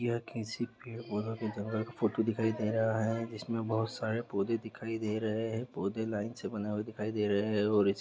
यह किसी पेड़-पौधे के जंगल का फोटो दिखाई दे रहा है जिसमे बहुत सारे पौधे है दिखाई दे रहे है पौधे लाइन से बने हुए दिखाई दे रहे है और इस--